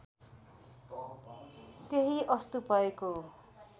त्यही अस्तु भएको